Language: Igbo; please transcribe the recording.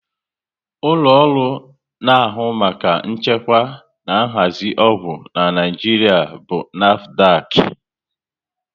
Ụlọ ọrụ na ahụ maka nchekwa na nhazi ọgwụ n'Naijiria bụ NAFDAC